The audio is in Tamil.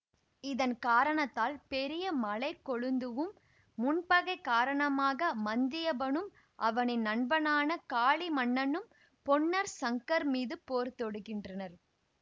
இதன் காரணத்தால் பெரிய மலைக்கொழுந்துவும் முன்பகை காரணமாக மந்தியப்பனும் அவனின் நண்பனான காளி மன்னனும் பொன்னர் சங்கர் மீது போர் தொடுக்கின்றனர்